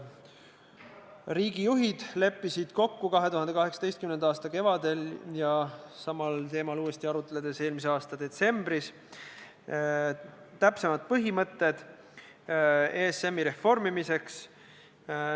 Riigijuhid leppisid 2018. aasta kevadel ja samal teemal uuesti arutledes eelmise aasta detsembris kokku täpsemad põhimõtted ESM-i reformimiseks.